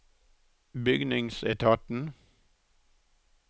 bygningsetaten